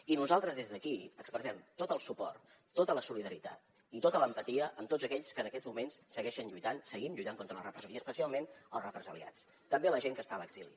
i nosaltres des d’aquí expressem tot el suport tota la solidaritat i tota l’empatia amb tots aquells que en aquests moments segueixen lluitant seguim lluitant contra la repressió i especialment els represaliats també la gent que està a l’exili